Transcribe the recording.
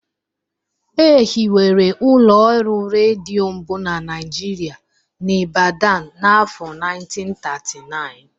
E hiwere ụlọ ọrụ redio mbụ na Nigeria n'Ibadan n'afọ 1939